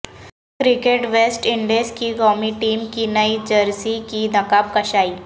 cricket west Indies کی قومی team کی نئی جرسی کی نقاب کشائی